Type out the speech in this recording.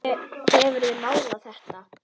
Hefurðu málað þetta?